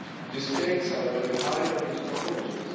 The stakes are very high on these proposals.